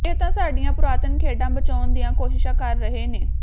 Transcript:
ਇਹ ਤਾਂ ਸਾਡੀਆਂ ਪੁਰਾਤਨ ਖੇਡਾਂ ਬਚਾਉਣ ਦੀਆਂ ਕੋਸ਼ਿਸ਼ਾਂ ਕਰ ਰਹੇ ਨੇ